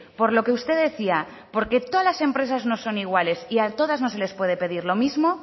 por lo que usted decía porque todas las empresas no son iguales y a todas no se les puede pedir lo mismo